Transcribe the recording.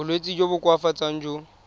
bolwetsi jo bo koafatsang jo